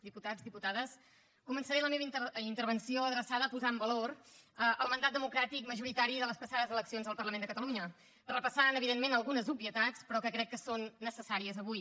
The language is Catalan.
diputats diputades començaré la meva intervenció adreçada a posar en valor el mandat democràtic majoritari de les passades eleccions al parlament de catalunya repassant evidentment algunes obvietats però que crec que són necessàries avui